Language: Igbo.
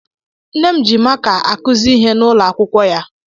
Nne m ji maka akuzi ihe n'ụlọ akwụkwọ ya.